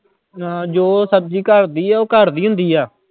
ਹਾਂ ਜੋ ਸਬਜ਼ੀ ਘਰਦੀ ਹੈ ਉਹ ਘਰਦੀ ਹੁੰਦੀ ਆ।